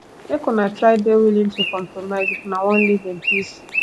make una try de willing to compromise if una won live in peace